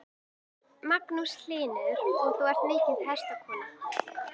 Magnús Hlynur: Og þú ert mikil hestakona?